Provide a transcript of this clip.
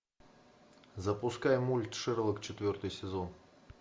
запускай мульт шерлок четвертый сезон